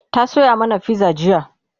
ta Sayo mana fizza jiya